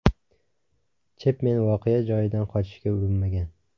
Chepmen voqea joyidan qochishga urinmagan.